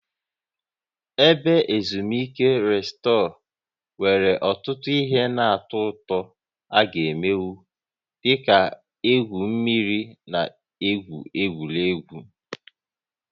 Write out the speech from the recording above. Ebe ezumike Resort nwere ọtụtụ ihe na-atọ ụtọ a gá emenwu, dị ka igwu mmiri na igwu egwuregwu